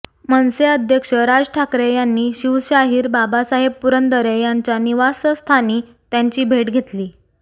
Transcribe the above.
मनसे अध्यक्ष राज ठाकरे यांनी शिवशाहीर बाबासाहेब पुरंदरे यांच्या निवासस्थानी त्यांची भेट घेतली